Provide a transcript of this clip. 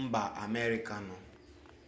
mba amerika nọ